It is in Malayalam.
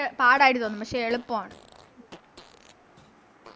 ഇങ്ങനെ പാടായിട്ട് തോന്നും പക്ഷെ എളുപ്പാണ്